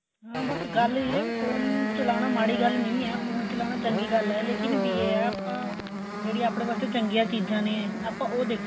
ਹਾਂ ਬੱਸ ਗੱਲ ਏ ਵੀ ਫੋਨ ਚਲਾਨਾ ਕੋਈ ਮਾੜੀ ਗੱਲ ਨਹੀਂ ਏ ਫੋਨ ਚਲਾਨਾ ਚੰਗੀ ਗੱਲ ਏ ਵੀ ਲੇਕਿਨ ਏਹ ਆਪਾਂ ਜਿਹੜੀਆਂ ਆਪਣੇ ਵਾਸਤੇ ਚੰਗੀਆਂ ਚੀਜਾਂ ਨੇ ਆਪਾਂ ਉਹ ਦੇਖੀਏ